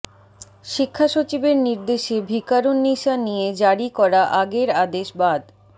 শিক্ষা সচিবের নির্দেশে ভিকারুননিসা নিয়ে জারি করা আগের আদেশ বাদ